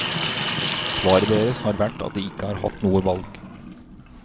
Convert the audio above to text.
Svaret deres har vært at de ikke har hatt noe valg.